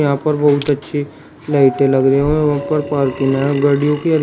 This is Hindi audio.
यहां पर बहुत अच्छी लाइटें लगी हैं वहां पर पार्किंग है गाड़ियों की।